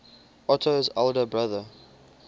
otto's elder brother